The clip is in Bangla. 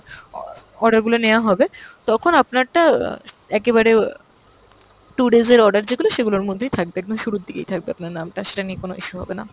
অ~ order গুলো নেওয়া হবে তখন আপনারটা আহ একেবারে আহ two days এর order যেগুলো সেগুলোর মধ্যেই থাকবে, একদম শুরুর দিকেই থাকবে আপনার নামটা সেটা নিয়ে কোনো issue হবে না।